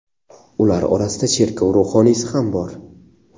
Ular orasida cherkov ruhoniysi ham bor.